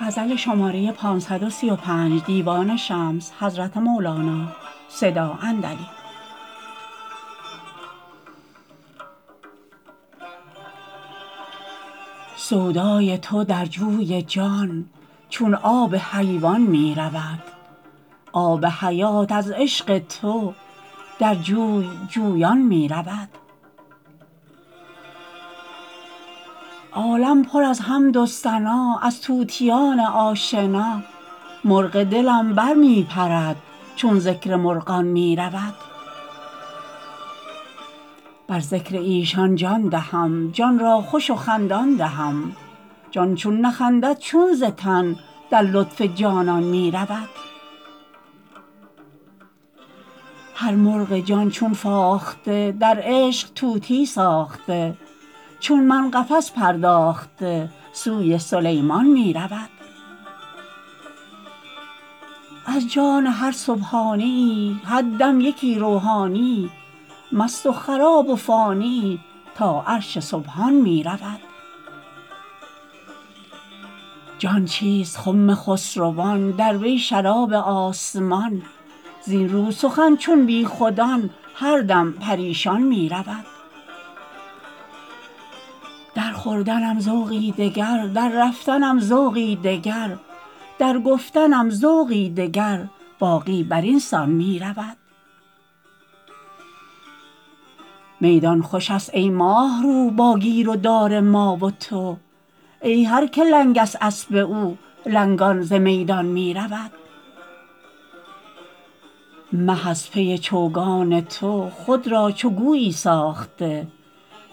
سودای تو در جوی جان چون آب حیوان می رود آب حیات از عشق تو در جوی جویان می رود عالم پر از حمد و ثنا از طوطیان آشنا مرغ دلم بر می پرد چون ذکر مرغان می رود بر ذکر ایشان جان دهم جان را خوش و خندان دهم جان چون نخندد چون ز تن در لطف جانان می رود هر مرغ جان چون فاخته در عشق طوقی ساخته چون من قفس پرداخته سوی سلیمان می رود از جان هر سبحانیی هر دم یکی روحانیی مست و خراب و فانیی تا عرش سبحان می رود جان چیست خم خسروان در وی شراب آسمان زین رو سخن چون بیخودان هر دم پریشان می رود در خوردنم ذوقی دگر در رفتنم ذوقی دگر در گفتنم ذوقی دگر باقی بر این سان می رود میدان خوش است ای ماه رو با گیر و دار ما و تو ای هر که لنگست اسب او لنگان ز میدان می رود مه از پی چوگان تو خود را چو گویی ساخته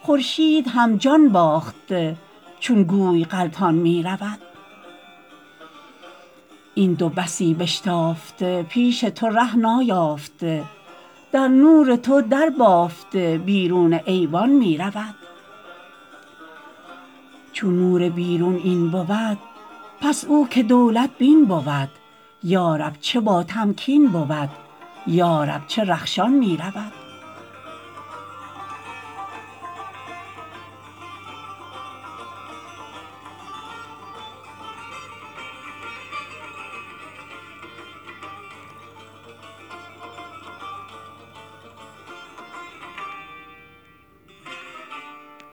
خورشید هم جان باخته چون گوی غلطان می رود این دو بسی بشتافته پیش تو ره نایافته در نور تو دربافته بیرون ایوان می رود چون نور بیرون این بود پس او که دولت بین بود یا رب چه باتمکین بود یا رب چه رخشان می رود